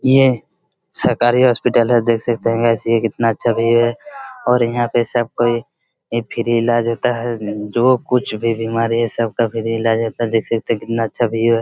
ये सरकारी हॉस्पिटल है जैसे कहना चाहिए इतना अच्छा भी है और यहा पे सब कोई ई फ्री इलाज होता है जो कुछ भी बीमारी हे सब का फ्री इलाज रेहता देख सकते हैकितना अच्छा भी है|